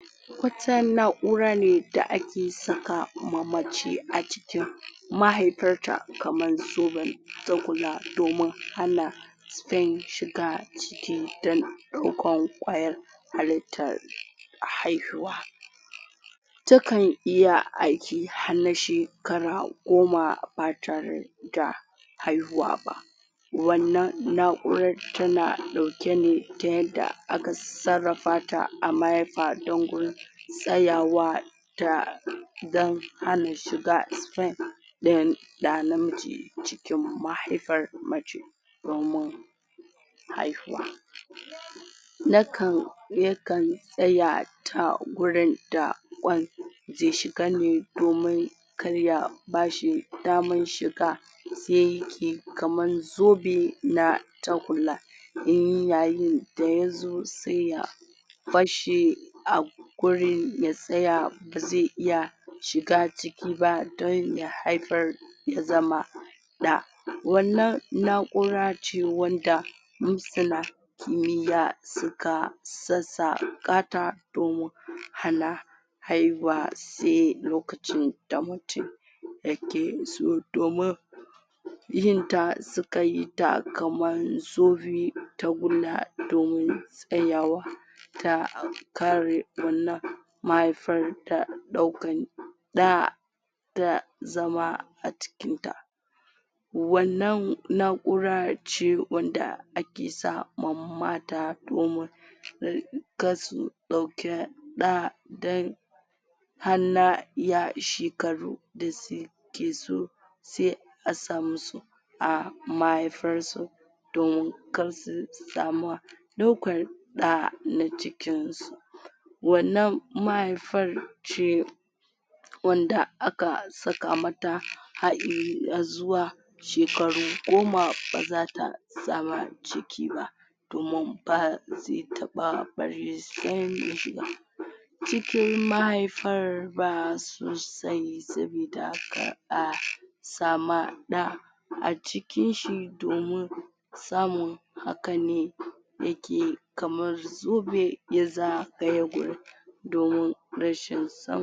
Wata na'ura ne da ake saka ma mace a cikin mahaifarta kaman zoben tagulla domin hana sperm shiga ciki dan ɗaukan ƙwayar halittar haihuwa takan iya aiki har na shekara goma ba tare da haihuwa ba, wannan na'urar tana ɗauke ne ta yanda aka sarrafa ta a mahaifa don gun tsayawa da dan hana shiga sperm ɗin ɗa namiji cikin mahaifar mace domin haihuwa. Nakan yakan tsaya ta gurin da ƙwan zai shiga ne domin karya bashi daman shiga sai ke kaman zobe na tagulla in yayin da yazo sai ya basshi a gurin ya tsaya bazai iya shiga ciki ba don ya haifar ya zama ɗa. Wannan na’ura ce wanda masana kimiya suka sassaƙa ta domin hana haihuwa sai lokacin da mutum yake so domin yinta sukayi ta kaman zobe tagulla domin tsayawa ta kare wannan mahiafar da ɗaukan ɗa ta zama a cikin ta. Wannan na’ura ce wanda ake sama mata domin karsu ɗauke ɗa dan hana yashikaru da suke so sai a sa musu a mahaifar su domin karsu sama ɗaukar ɗa na cikin su. Wannan mahaifar ce wanda aka saka mata na zuwa shekaru goma bazata sama ciki ba domin bazai taɓa bari sperm ya shiga cikin mahaifar ba su sai su bita kar a sama ɗa a cikin shi domin samun hakane yake kamar zube ya zagaye gurin domin rashin sam.